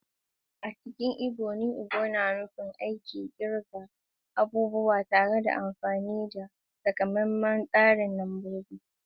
A cikin Ibo, “nu ego” na nufin aikin kirga abubuwa ta hanyar amfani da takamaiman tsarin lambobi.